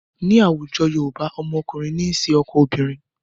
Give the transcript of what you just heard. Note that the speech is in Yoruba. Ní àwùjọ Yorùbá, ọmọkùnrin ní ń ṣe ọkọ ọmọbìnrin.